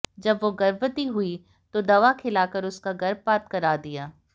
जब वो गर्भवती हुई तो दवा खिलाकर उसका गर्भपात करा दिया